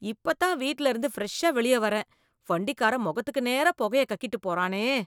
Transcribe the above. இப்பதான் வீட்லயிருந்து ஃப்ரெஷ்ஷா வெளியே வர்றேன், வண்டிக்காரன் மொகத்துக்கு நேரா பொகைய கக்கிட்டுப் போறானே.